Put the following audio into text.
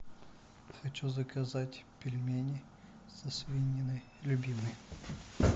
хочу заказать пельмени со свининой любимые